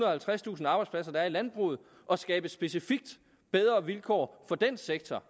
og halvtredstusind arbejdspladser der er i landbruget og skabe specifikt bedre vilkår for den sektor